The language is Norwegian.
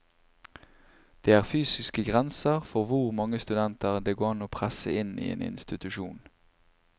Det er fysiske grenser for hvor mange studenter det går an å presse inn i en institusjon.